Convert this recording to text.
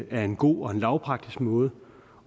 en god og lavpraktisk måde